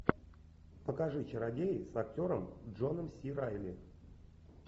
покажи чародеи с актером джоном си райли